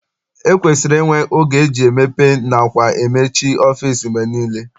E kwesiri inwe oge eji emepe nakwa emechi ọfịịsi mgbe niile.